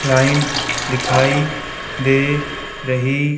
line दिखाई दे रही--